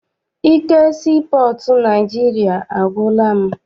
Ike sii pọọtụ Naịjirịa agwụla m.